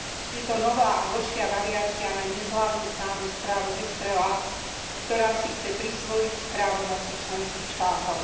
Je to nová a horšia variácia na neslávne známu správu Estrela, ktorá si chce prisvojiť právomoci členských štátov.